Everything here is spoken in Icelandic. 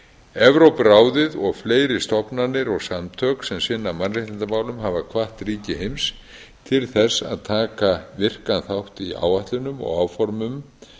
evrópuráðið og fleiri stofnanir og samtök sem sinna mannréttindamálum hafa hvatt ríki heims til þess að taka virkan þátt í áætlunum og áformum